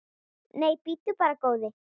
Nei, bíddu bara, góði.